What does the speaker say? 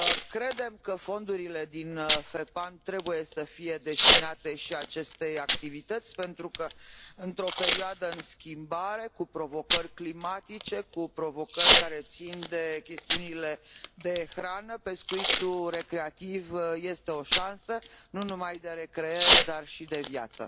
Credem că fondurile din FEPAM trebuie să fie destinate și acestei activități pentru că, într o perioadă în schimbare, cu provocări climatice, cu provocări care țin de chestiunile de hrană, pescuitul recreativ este o șansă nu numai de recreere, dar și de viață.